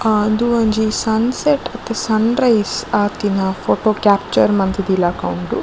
ಆ ಉಂದು ಒಂಜಿ ಸನ್ಸೆಟ್ ಅತ್ ಸನ್ರೈಸ್ ಆತಿನ ಫೊಟೊ ಕ್ಯಾಪ್ಚರ್ ಮಂತಿಲಕ ಉಂಡು.